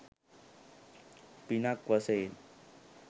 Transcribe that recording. පිනක් වශයෙන්.